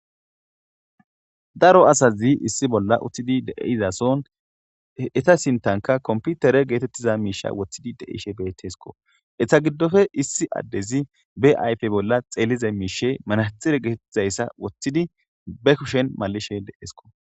Daro asazi issi bolla uttidi de7izason eta sintanka komppitere geetettiza miishe woththidi de7ishe beettesko. Eta giddofe issi addezi be ayfe bolla xeelize miishe manaxire geetettizayssa woththidi be kushen mallishe deesko.